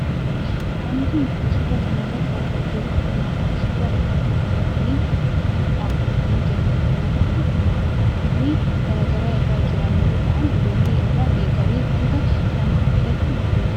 Wanti nuti suuraa kanarratti argaa jirru kun ammoo suuraa namoota baayyatanii dhaabbatanii jiraniiti. Namoonni kun namoota umurii gara garaa irra jiran yoo ta'an ijoollee irraa eegalee hanga nama guddaatti waarreen jiranidha.